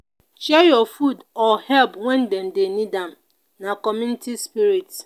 share your food or help when dem dey need am; na community spirit.